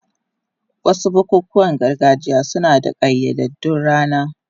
Wasu bukukuwan gargajiya suna da ƙayyadaddun rana.